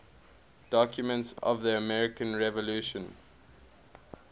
documents of the american revolution